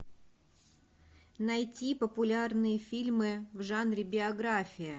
найти популярные фильмы в жанре биография